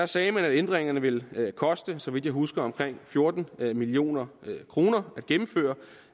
sagde man at ændringerne ville koste så vidt jeg husker omkring fjorten million kroner at gennemføre